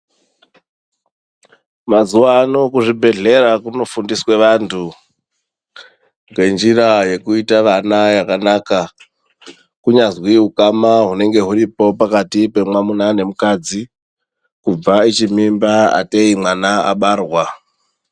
Mazuwano kuzvibhedhlera kunofundiswe vantu ngenjira yekuite vana yakanaka kunyazwi ukama hunenge huripo pakati pemwamuna nemukadzi kubva ichi mimba ateyi mwana abarwa.